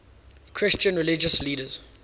christian religious leaders